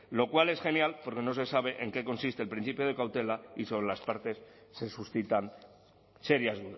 lo cual es genial porque no se sabe en qué consiste el principio de cautela y sobre las partes se suscitan serias